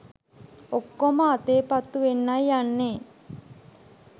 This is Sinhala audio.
ඔක්කොම අතේ පත්තු වෙන්නයි යන්නෙ.